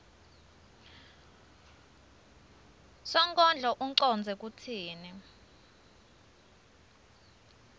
sonkondlo ucondze kutsini